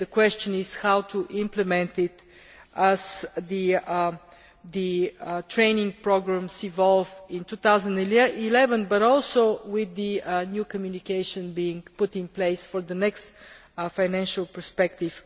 The question is how to implement it, as the training programmes evolve in 2011, but also with the new communication being put in place for the next financial perspective.